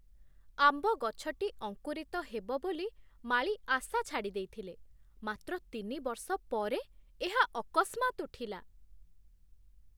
ଆମ୍ବ ଗଛଟି ଅଙ୍କୁରିତ ହେବ ବୋଲି ମାଳୀ ଆଶା ଛାଡ଼ି ଦେଇଥିଲେ, ମାତ୍ର ତିନି ବର୍ଷ ପରେ ଏହା ଅକସ୍ମାତ୍ ଉଠିଲା!